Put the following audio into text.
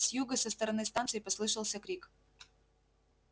с юга со стороны станции послышался крик